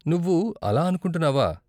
నువ్వు అలా అనుకుంటున్నావా?